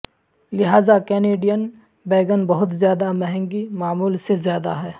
لہذا Canadian bacon بہت زیادہ مہنگی معمول سے زیادہ ہے